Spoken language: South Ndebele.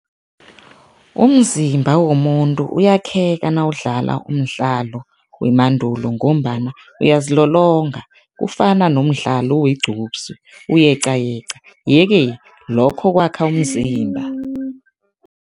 Umzimba womuntu uyakheka nawudlala umdlalo wemandulo ngombana uyazilolonga, kufana nomdlalo wegqupsi, uyeqayeqa, yeke lokho kwakha umzimba.